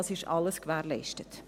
Das ist alles gewährleistet.